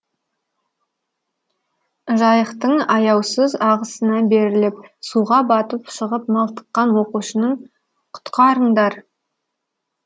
жайықтың аяусыз ағысына беріліп суға батып шығып малтыққан оқушының құтқарындар